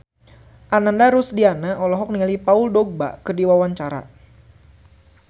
Ananda Rusdiana olohok ningali Paul Dogba keur diwawancara